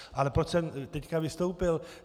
Ale proč jsem teď vystoupil.